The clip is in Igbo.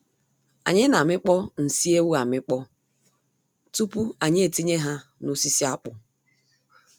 Anyị na amịkpọ nsị ewu amịkpọ tupu anyị etinye ha nosisi akpụ.